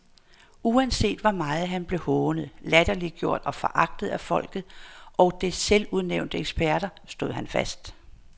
Uanset hvor meget han blev hånet, latterliggjort og foragtet af folket og dets selvudnævnte eksperter, stod han fast.